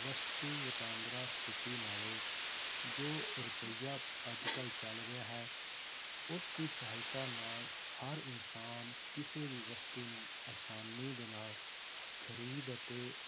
ਵਸਤੂ ਵਟਾਂਦਰਾ ਸਥਿਤੀ ਨਾਲੋਂ ਜੋ ਰੁਪਈਆ ਅੱਜ ਕੱਲ੍ਹ ਚੱਲ ਰਿਹਾ ਹੈ, ਉਸਦੀ ਸਹਾਇਤਾ ਨਾਲ ਹਰ ਇਨਸਾਨ ਕਿਸੇ ਵੀ ਵਸਤੂ ਨੂੰ ਆਸਾਨੀ ਦੇ ਨਾਲ ਖ਼ਰੀਦ ਅਤੇ